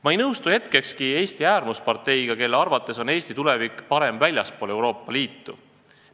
Ma ei nõustu hetkekski Eesti äärmusparteiga, kelle arvates on Eesti tulevik parem väljaspool Euroopa Liitu.